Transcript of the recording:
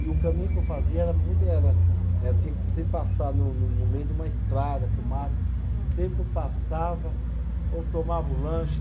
E o caminho que eu fazia era muito, era, era, era tinha que sempre passar no no no meio de uma estrada, com mato, sempre quando passava, ou tomava o lanche.